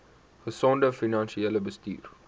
gesonde finansiële bestuur